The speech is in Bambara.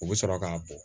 U bɛ sɔrɔ k'a bɔ